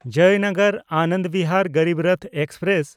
Jaynagar-Anand Bihar Garib Rath express